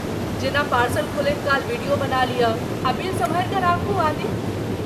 जेना पार्सल खोलैत काल वीडियो बना लिअ आ बिल सम्हारि कऽ राखू आदि।